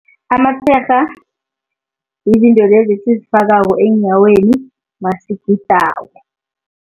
Amatshega izinto lezi esizifakako eenyaweni masigidako.